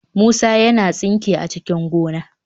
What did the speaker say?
Musa yana tsinke a cikin gona."